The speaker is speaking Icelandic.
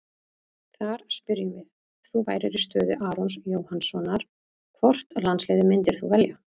Þar spyrjum við: Ef þú værir í stöðu Arons Jóhannssonar, hvort landsliðið myndir þú velja?